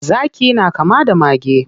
Zaki na kama da mage.